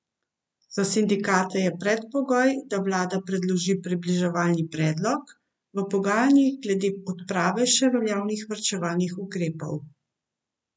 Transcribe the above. Za sindikate je predpogoj, da vlada predloži približevalni predlog v pogajanjih glede odprave še veljavnih varčevalnih ukrepov.